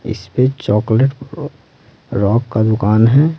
इस पे chocolate rock का दुकान है।